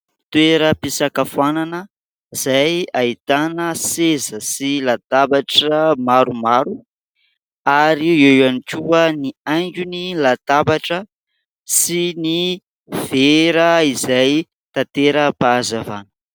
Toeram-pisakafoanana izay ahitana seza sy latabatra maromaro ary eo ihany koa ny haingony latabatra sy ny vera izay tantera-pahazavana.